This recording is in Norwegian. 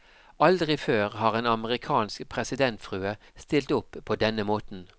Aldri før har en amerikansk presidentfrue stilt opp på denne måten.